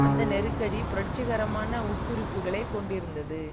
அந்த நெருக்கடி புரட்சிகரமான உட்குறிப்புக்களை கொண்டிருந்தது